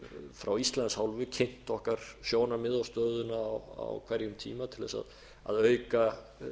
frá íslands hálfu kynnt okkar sjónarmið og stöðuna á hverjum tíma til þess að auka